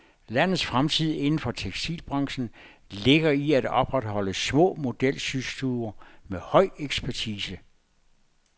Landets fremtid inden for tekstilbranchen ligger i at opretholde små modelsystuer med høj ekspertise.